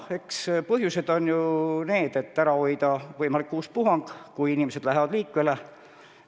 Eks põhjuseks on soov ära hoida võimalik uus puhang, kui inimesed on rohkem liikuma hakanud.